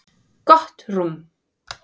Gott rúm.